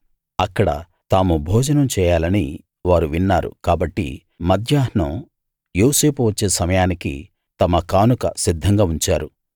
అక్కడ తాము భోజనం చేయాలని వారు విన్నారు కాబట్టి మధ్యాహ్నం యోసేపు వచ్చే సమయానికి తమ కానుక సిద్ధంగా ఉంచారు